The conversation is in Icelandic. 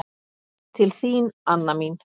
Til þín, Anna mín.